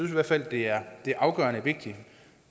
i hvert fald det er afgørende vigtigt